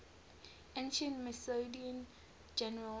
ancient macedonian generals